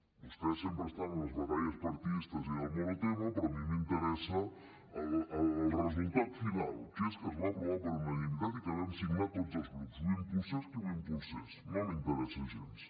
vostès sempre estan amb les batalles partidistes i del monotema però a mi m’interessa el resultat final que és que es va aprovar per unanimitat i que vam signar tots els grups ho impulsés qui ho impulsés no m’interessa gens